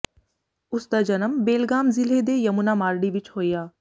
ਉਸਦਾ ਜਨਮ ਬੇਲਗਾਮ ਜ਼ਿਲੇ ਦੇ ਯਮੁਨਾ ਮਾਰਡੀ ਵਿੱਚ ਹੋਇਆ